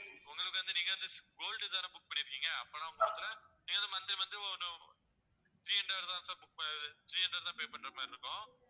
உங்களுக்கு வந்து நீங்க வந்து gold தானே book பண்ணியிருக்கீங்க அப்பன்னா உங்களுக்கு monthly monthly ஓரு three hundred தான் sir புக்~ இது three hundred தான் pay பண்ற மாதிரி இருக்கும்